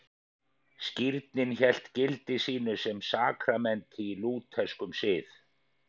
Skírnin hélt gildi sínu sem sakramenti í lútherskum sið.